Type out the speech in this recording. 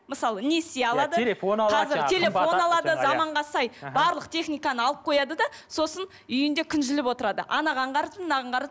мысалы несие алады телефон алады телефон алады заманға сай барлық техниканы алып қояды да сосын үйінде күнжіліп отырады анаған қарызбын мынаған қарыз